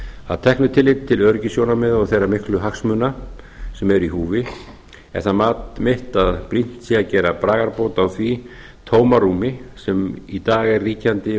að teknu tilliti til öryggissjónarmiða og þeirra miklu hagsmuna sem eru í húfi er það mat mitt að brýnt sé að gera bragarbót á því tómarúmi sem í dag er ríkjandi